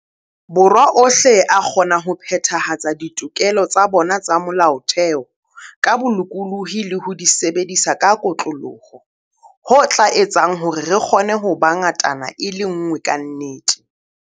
Borwa ohle a kgona ho phethahatsa ditokelo tsa bona tsa Mo-laotheo ka bolokolohi le ho di sebedisa ka kotloloho, ho tla etsang hore re kgone ho ba ngatana e le nngwe kannete.